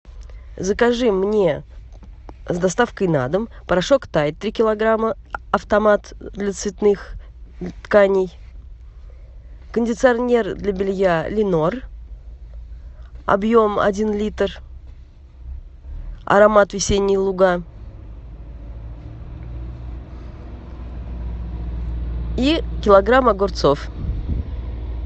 закажи мне с доставкой на дом порошок тайд три килограмма автомат для цветных тканей кондиционер для белья ленор объем один литр аромат весенние луга и килограмм огурцов